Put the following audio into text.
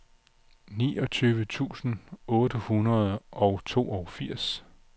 niogtyve tusind otte hundrede og toogfirs